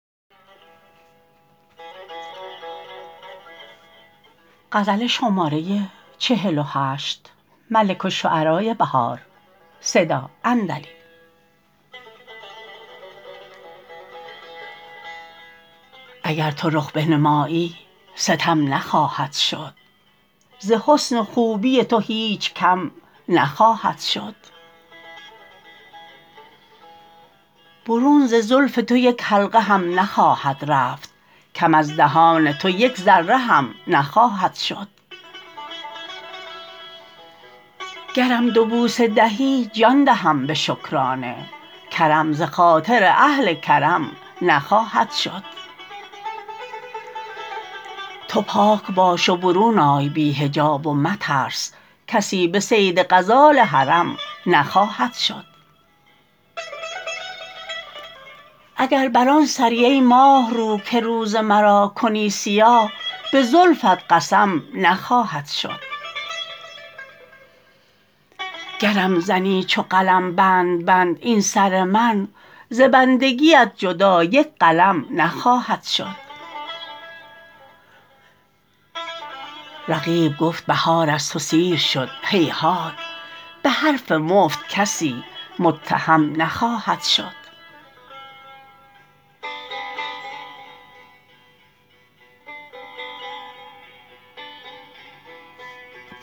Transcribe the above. اگر تو رخ بنمایی ستم نخواهد شد ز حسن و خوبی تو هیچ کم نخواهد شد برون ز زلف تو یک حلقه هم نخواهد رفت کم از دهان تو یک ذره هم نخواهد شد گرم دو بوسه دهی جان دهم به شکرانه کرم ز خاطر اهل کرم نخواهد شد تو پاک باش و برون آی بی حجاب و مترس کسی به صید غزال حرم نخواهد شد اگر بر آن سری ای ماهرو که روز مرا کنی سیاه به زلفت قسم نخواهد شد گرم زنی چو قلم بند بند این سر من ز بندگیت جدا یک قلم نخواهد شد رقیب گفت بهار از تو سیر شد هیهات به حرف مفت کسی متهم نخواهد شد